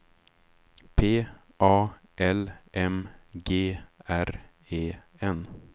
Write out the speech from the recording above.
P A L M G R E N